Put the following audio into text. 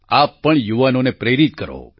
આપ પણ યુવાનોને પ્રેરિત કરો